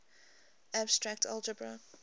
abstract algebra